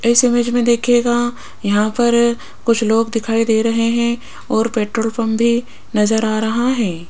इस इमेज में देखिएगा यहां पर कुछ लोग दिखाई दे रहे हैं और पेट्रोल पंप भी नज़र आ रहा है।